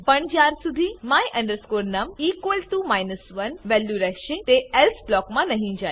પણ જ્યાર શુધી my num 1 વેલ્યુ રહેશે તે એલ્સે બ્લોક માં નહી જાય